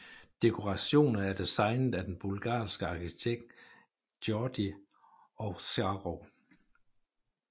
Dekorationer er designet af den bulgarske arkitekt Georgi Ovcharov